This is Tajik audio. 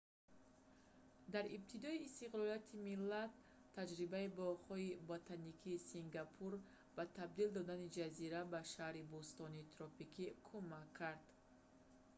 дар ибтидои истиқлолияти миллат таҷрибаи боғҳои ботаникии сингапур ба табдил додани ҷазира ба шаҳри бӯстонии тропикӣ кумак кард